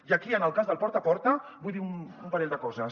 i aquí en el cas del porta a porta vull dir un parell de coses